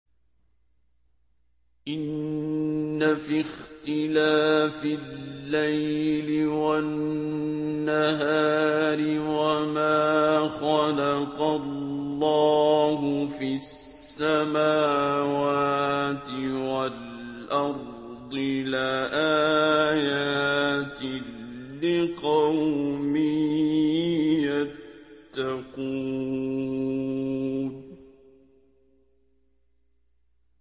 إِنَّ فِي اخْتِلَافِ اللَّيْلِ وَالنَّهَارِ وَمَا خَلَقَ اللَّهُ فِي السَّمَاوَاتِ وَالْأَرْضِ لَآيَاتٍ لِّقَوْمٍ يَتَّقُونَ